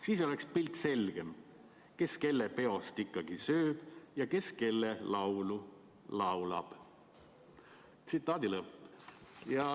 Siis oleks pilt selgem, kes kelle peost ikkagi sööb ja kelle laulu laulab.